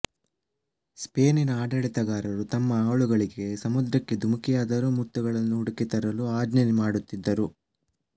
ಸ್ಪೇನಿನ ಆಡಳಿತಗಾರರು ತಮ್ಮ ಆಳುಗಳಿಗೆ ಸಮುದ್ರಕ್ಕೆ ಧುಮಿಕಿಯಾದರೂ ಮುತ್ತುಗಳನ್ನು ಹುಡಿಕಿ ತರಲು ಆಜ್ಞೆ ಮಾಡುತ್ತಿದ್ದರು